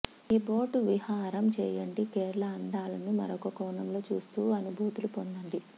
ఈ బోటు విహారం చేయండి కేరళ అందాలను మరొక కోణంలో చూస్తూ అనుభూతులు పొందండి